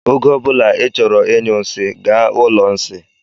Oge ọbula I chọrọ ịnyụ nsị, gaa ụlọ nsị.